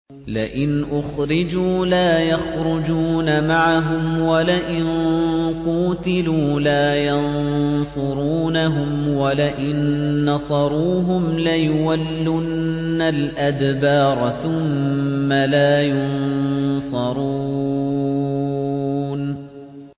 لَئِنْ أُخْرِجُوا لَا يَخْرُجُونَ مَعَهُمْ وَلَئِن قُوتِلُوا لَا يَنصُرُونَهُمْ وَلَئِن نَّصَرُوهُمْ لَيُوَلُّنَّ الْأَدْبَارَ ثُمَّ لَا يُنصَرُونَ